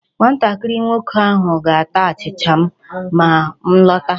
Nwatakịrị nwoke ahụ ga-ata achịcha ma m lọta.